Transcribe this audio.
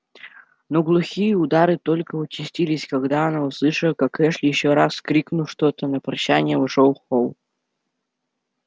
но глухие удары только участились когда она услышала как эшли ещё раз крикнув что-то на прощание вошёл в холл